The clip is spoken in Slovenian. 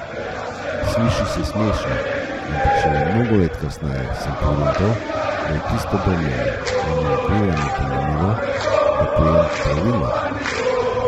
Sliši se smešno, ampak šele mnogo let kasneje sem pogruntal, da je tisto brnenje in vibriranje pomenilo, da pojem pravilno.